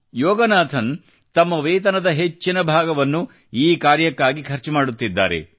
ಯೋಗನಾಥನ್ ಅವರು ತಮ್ಮ ವೇತನದ ಹೆಚ್ಚಿನ ಭಾಗವನ್ನು ಈ ಕಾರ್ಯಕ್ಕಾಗಿ ಖರ್ಚು ಮಾಡುತ್ತಿದ್ದಾರೆ